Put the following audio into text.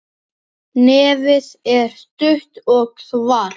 Nefið er stutt og svart.